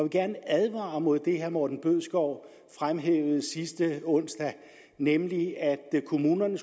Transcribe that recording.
gerne advare mod det herre morten bødskov fremhævede sidste onsdag nemlig at kommunerne